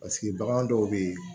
Paseke bagan dɔw bɛ yen